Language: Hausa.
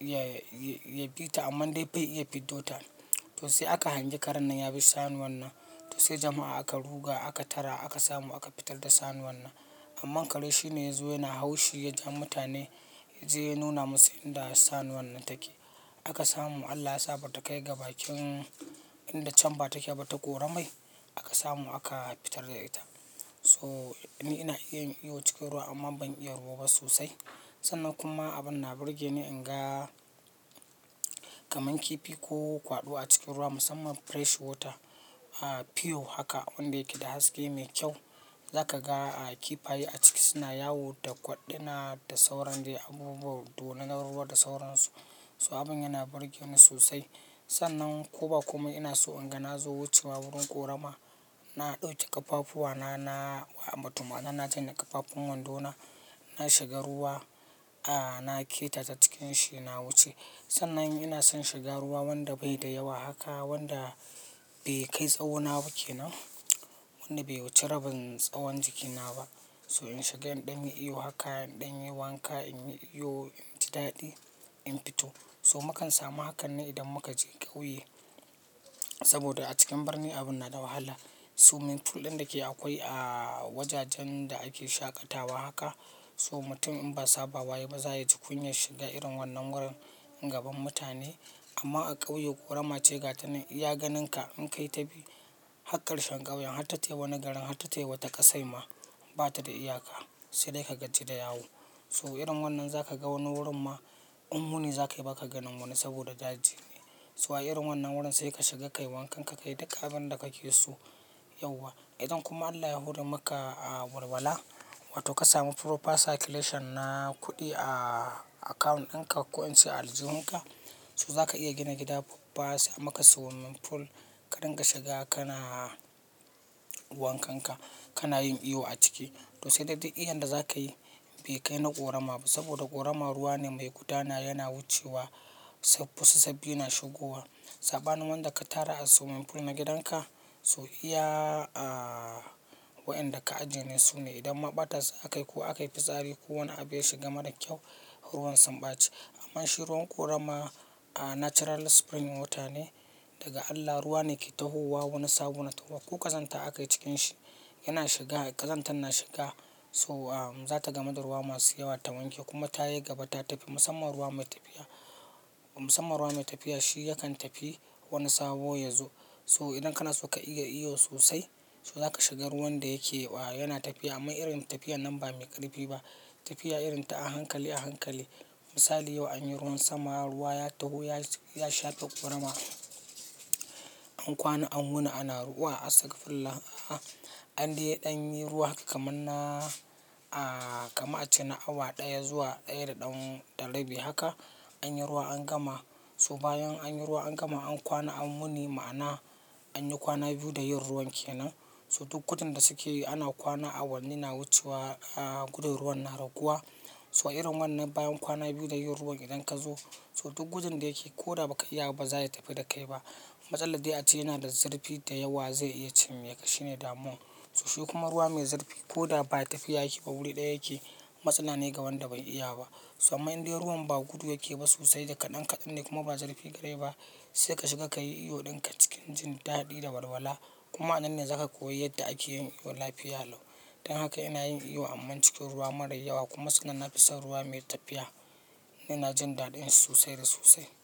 ya ya bi ta amma dai bai iya fiddo ta. To sai aka hangi karan nan ya bi sanuwan nan. To sai jama'a aka ruga, aka tara, aka samu aka fitar da sanuwan nan. Amma kare shi ne ya zo yana haushi ya ja mutane ya je ya nuna musu inda sanuwan nan take. Aka samu Allah ya sa bata kai ga bakin inda camba take ba ta ƙoramai. Aka samu aka fitar da ita. So ni ina iya yin iyo cikin ruwa amman ban iya ruwa ba sosai. Sannan kuma abin na burge ni in ga kaman kifi ko kwaɗo a cikin ruwa musamman fresh water a piyo haka wanda yake da haske mai kyau. Za ka ga a kifaye a ciki suna yawo da kwaddina da sauran dai abubuwa dorunan ruwa da sauran su. So abin yana burge ni sosai. Sannan ko ba komai ina so in ga na zo wucewa wurin ƙorama. Na ɗauki ƙafafuwa na, na wa amma tuhma na na janye ƙafafun wanɗona. Na shiga ruwa a na keta ta cikin shi na wuce. Sannan ina son shiga ruwa wanda bai da yawa haka wanda bai kai tsawo na ba ke nan. Wanda bai wuce rabin tsawon jiki na ba. So in shiga in ɗan yi iyo haka in ɗan yi wanka in yi iyo in ji daɗi in fito. So makan samu hakan ne idan muka je ƙauye. Saboda a cikin birni abin na da wahala. Swimming pool ɗin da ke akwai a wajajen da ake shaƙatawa haka so mutun in ba saba wa yai ba za ya ji kunyar shiga irin wannan wurin gaban mutane. Amma a ƙauye ƙorama ce gatane. Iya ganin ka in kai ta bi hakkar shan ƙawyen har tatai wani garin har tatai wata ƙasai ma bata da iyaka. Sai dai ka gaji da yawo. So irin wannan za ka ga wani wurin ma in wuni za ka yi baka ganin wani saboda daji ne. So a irin wannan wurin sai ka shiga kai wankan ka kai duka abin da kake so yauwa. Idan kuma Allah ya hore maka a walwala wato ka samu proper circulation na kuɗi a account ɗin ka ko in ce a aljihun ka. So za ka iya gina gida babba sai a maka swimming pool ka dinga shiga kana wankan ka kana yin iyo a ciki. To sai dai duk iyin da zakayi bai kai na ƙorama ba saboda ƙorama ruwa ne mai gudana yana wucewa. Sai fusa sabbi na shigowa. Saɓanin wanda ka tara a swimming pool na gidan ka. So iya a wa'yanda ka ajiye ne su ne idan ma ɓata su akai ko aka yi fitsari ko wani abu ya shiga mara kyau ruwan sun ɓaci. Amma shi ruwan ƙorama a natural spring water ne daga Allah ruwa ne ke tahowa wani sabo na taho. Ko ƙazanta akai cikin shi yana shiga ƙazantar na shiga so am zata gamu du ruwa masu yawa ta wanke kuma ta yi gaba ta tafi. Musamman ruwa mai tafiya musamman ruwa mai tafiya shi yakan tafi wani sabo ya zo. So idan kana so ka iya iyo sosai so za ka shiga ruwan da yake a yana tafiya amma irin tafiya nan ba mai ƙarifi ba. Tafiya irin ta a hankali a hankali. Misali yau anyi ruwan sama ruwa ya taho ya shafe ƙorama. An kwana an wuni ana ruwa. Astagfirullah! An dai ɗan yi ruwa haka kamanna a kama a ce na awa ɗaya zuwa ɗaya da ɗan da rabi haka. Anyi ruwa an gama. To bayan anyi ruwa an gama an kwana an wuni ma'ana an yi kwana biyu da yin ruwan ke nan. To duk gudun da suke yi ana kwana awanni na wucewa a gudun ruwan na raguwa. So irin wannan bayan kwana biyu da yin ruwan idan ka zo so duk gudun da yake ko da ba ka iya ba za ya tafi da kai ba. Matsalar dai a ce yana da zarfi da yawa zai iya cimme ka shine damuwan. Shi kuma ruwa mai zurfi koda ba tafiya yake ba wuri daya yake. Matsala ne ga wanda bai iya ba. So amman in dai ruwan ba kudu yake ba sosai da kadan kadan ne kuma ba zurfi garai ba sai ka shiga kai iyo dinka cikin jin dadi da walwala kuma anan ne za ka koyi yadda ake yin iyo lafiya lau. Dan haka ina yin iyo amma cikin ruwa mara yawa kuma sannan na fi son ruwa mai tafiya. Ni ina jin daɗin shi sosai da sosai.